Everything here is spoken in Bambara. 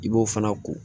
I b'o fana ko